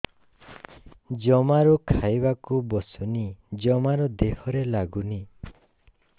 ଜମାରୁ ଖାଇବାକୁ ବସୁନି ଜମାରୁ ଦେହରେ ଲାଗୁନି